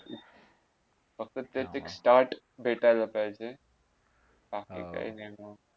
फक्त ते एक start भेटायला पाहिजे बाकी काय नय